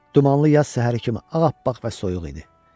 Dumanlı yaz səhəri kimi ağappaq və soyuq idi.